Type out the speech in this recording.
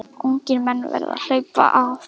Ungir menn verða að HLAUPA AF